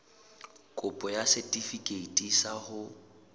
kopo ya setefikeiti sa ho